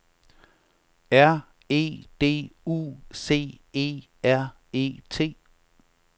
R E D U C E R E T